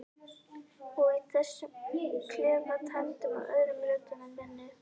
Og þessum klefa tæmdum af öðrum röddum en minni.